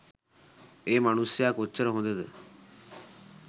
ඒ මනුස්සයා කොච්චර හොඳද